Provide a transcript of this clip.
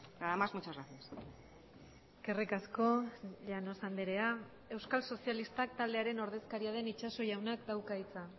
nada más muchas gracias eskerrik asko llanos andrea euskal sozialistak taldearen ordezkaria den itxaso jaunak dauka hitza